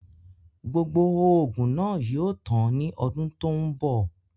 Gbogbo oògùn náà yìí ó tàn ni ọdún tòun bọ̀